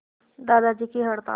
दादाजी की हड़ताल